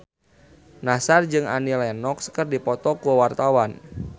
Nassar jeung Annie Lenox keur dipoto ku wartawan